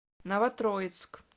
новотроицк